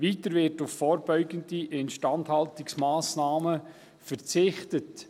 Weiter wird auf vorbeugende Instandhaltungsmassnahmen verzichtet.